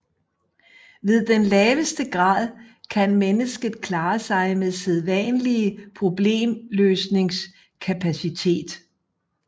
Ved den laveste grad kan mennesket klare sig med sædvanlige problemløsningskapacitet